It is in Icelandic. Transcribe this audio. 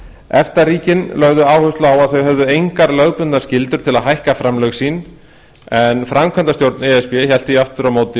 efta ríkin lögðu áherslu á að þau hefðu engar lögbundnar skyldur til að hækka framlög sín en framkvæmdastjórn e s b hélt því aftur á móti